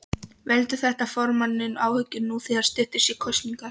Veldur þetta formanninum áhyggjum nú þegar styttist í kosningar?